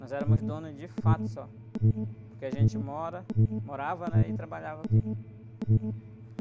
Nós éramos donos de fato só, porque a gente mora, morava, né? E trabalhava aqui.